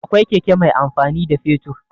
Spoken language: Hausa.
Akwai keke mai amfani da fetur.